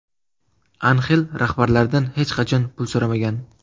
Anxel rahbarlardan hech qachon pul so‘ramagan.